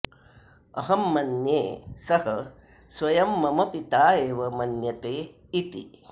अहं मन्ये सः स्वयं मम पिता एव मन्यते इति